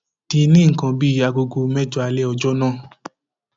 d ní nǹkan bíi aago mẹjọ alẹ ọjọ náà